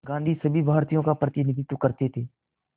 गांधी सभी भारतीयों का प्रतिनिधित्व करते थे